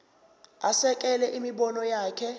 asekele imibono yakhe